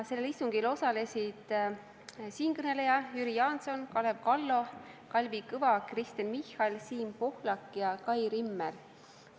Sellel istungil osalesid siinkõneleja, Jüri Jaanson, Kalev Kallo, Kalvi Kõva, Kristen Michal, Siim Pohlak ja Kai Rimmel.